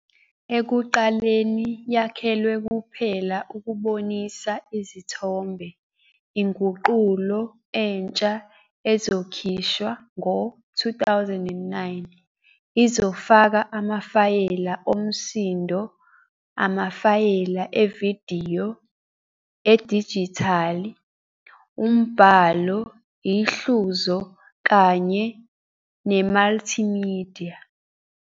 Ekuqaleni yakhelwe kuphela ukubonisa izithombe, inguqulo entsha ezokhishwa ngo-2009, izofaka amafayela omsindo, amafayela evidiyo edijithali, umbhalo, ihluzo kanye nemultimedia.